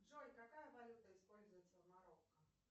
джой какая валюта используется в марокко